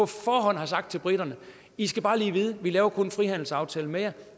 forhånd har sagt til briterne i skal bare lige vide at vi kun laver kun en frihandelsaftale med jer